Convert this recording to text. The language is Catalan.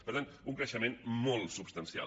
per tant un creixement molt substancial